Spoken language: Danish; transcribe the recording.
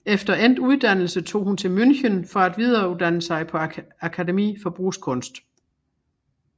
Efter endt uddannelse tog hun til München for at videreuddanne sig på akademie for brugskunst